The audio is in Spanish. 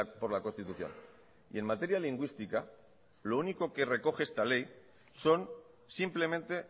por la constitución y en materia lingüística lo único que recoge esta ley son simplemente